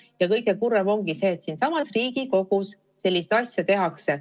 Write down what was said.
Ja kõige kurvem ongi see, et siinsamas Riigikogus selliseid asju tehakse.